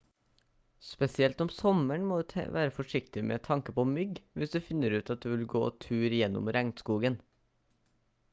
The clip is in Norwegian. spesielt om sommeren må du være forsiktig med tanke på mygg hvis du finner ut at du vil gå tur gjennom regnskogen